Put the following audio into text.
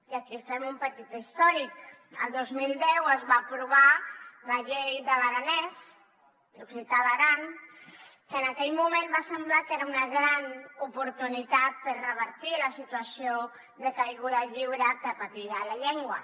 i aquí fem un petit històric el dos mil deu es va aprovar la llei de l’aranès l’occità a l’aran que en aquell moment va semblar que era una gran oportunitat per revertir la situació de caiguda lliure que patia la llengua